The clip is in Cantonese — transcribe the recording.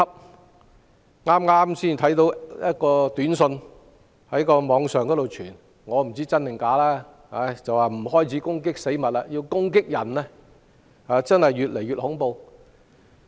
我剛剛在網上看到一則短訊，不知道是真是假，短訊提到有人開始不攻擊死物，反而攻擊人，情況真是越來越恐怖。